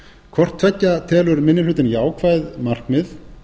hvort tveggja telur minni hlutinn jákvæð markmið